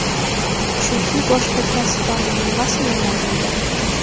Chunki boshqa kasblarning nimasi yomon unda?